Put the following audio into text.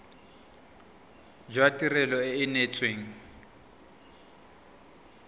jwa tirelo e e neetsweng